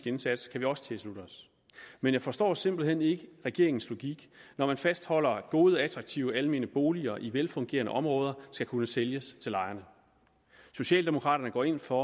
indsats kan vi også tilslutte os men jeg forstår simpelt hen ikke regeringens logik når den fastholder at gode attraktive almene boliger i velfungerende områder skal kunne sælges til lejerne socialdemokraterne går ind for